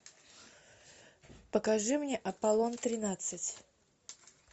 покажи мне аполлон тринадцать